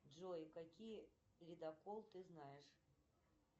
джой какие ледокол ты знаешь